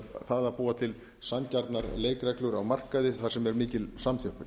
það að búa til sanngjarnar leikreglur á markaði þar sem er mikil samþjöppun